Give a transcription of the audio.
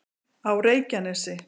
á reykjanesi